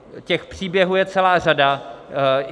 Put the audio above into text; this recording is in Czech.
Těch příběhů je celá řada.